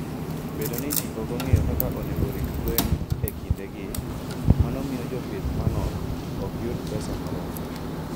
Bedo ni ji ok ong'eyo kaka onego orit gwen e kindegi, mano miyo jopith manok ok yud pesa moromo.